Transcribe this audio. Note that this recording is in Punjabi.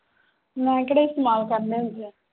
ਮੈਂ ਕਿਹੜੇ ਇਸਤੇਮਾਲ ਕਰਨੇ ਆਂ